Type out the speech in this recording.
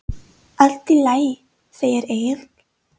Allt í lagi, segir Egill.